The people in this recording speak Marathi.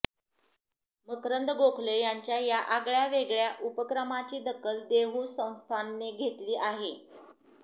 मकरंद गोखले यांच्या या आगळ्यावेगळ्या उपक्रमाची दखल देहू संस्थानने घेतली आहे